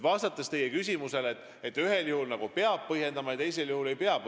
Vastan nüüd teie küsimusele, et ühel juhul nagu peab otsust põhjendama ja teisel juhul ei pea.